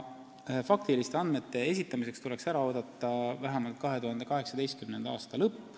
Faktiliste andmete esitamiseks tuleb ära oodata vähemalt 2018. aasta lõpp.